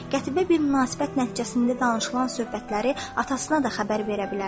Qətiyyə bir münasibət nəticəsində danışılan söhbətləri atasına da xəbər verə bilərdi.